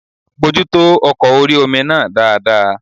Bojútó ọkọ̀ orí-omi náà dáadáa